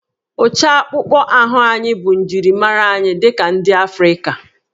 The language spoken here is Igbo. Ụcha akpụkpọ ahụ anyị bụ njirimara anyị dị ka ndị Afrịka